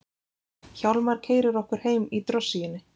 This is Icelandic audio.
Hjálmar keyrir okkur heim í drossíunni.